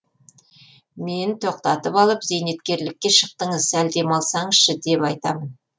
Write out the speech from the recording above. мен тоқтатып алып зейнеткерлікке шықтыңыз сәл демалсаңызшы деп айтамын